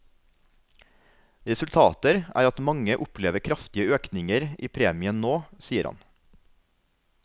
Resultater er at mange opplever kraftige økninger i premien nå, sier han.